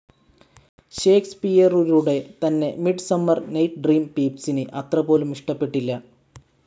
ഷേക്‌സ്‌പിയറുരുടെ തന്നെ midsummer night dream പീപ്സിന് അത്രപോലും ഇഷ്ട്ടപെട്ടില്ല.